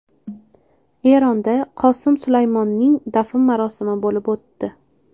Eronda Qosim Sulaymoniyning dafn marosimi bo‘lib o‘tdi.